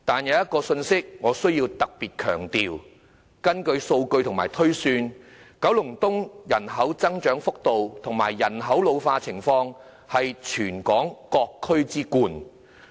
我必須特別強調一點，根據數據及推算，九龍東人口增長幅度和人口老化情況是全港各區之冠。